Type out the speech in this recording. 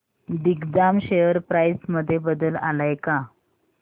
Digjam share price मध्ये बदल आलाय का